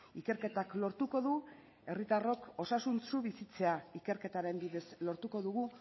ikerketak lortuko du herritarrok osasuntsu bizitzea ikerketaren bidez lortuko dugu